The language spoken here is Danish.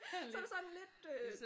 Så det sådan lidt øh